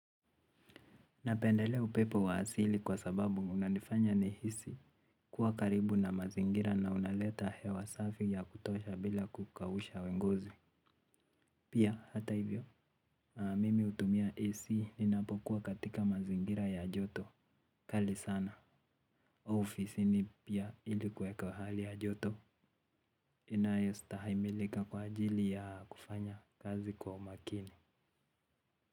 Napendelea upepo wa asili kwa sababu unanifanya nihisi kuwa karibu na mazingira na unaleta hewa safi ya kutosha bila kukausha ngozi. Pia, hata hivyo, mimi utumia hisi ninapokuwa katika mazingira ya joto. Kali sana au ofisini pia ili kuweka hali ya joto inayestahimilika kwa ajili ya kufanya kazi kwa umakini.